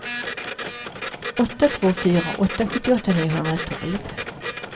åtta två fyra två sjuttioåtta niohundratolv